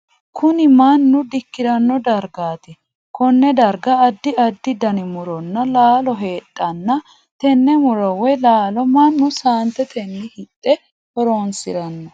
Kunni mannu dikirano dargaati. Konne darga addi addi danni muronna laallo heedhanna tenne muro woyi laalo Manu saantetenni hidhe horoonsirano.